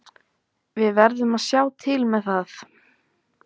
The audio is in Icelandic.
Við verðum að sjá til með það.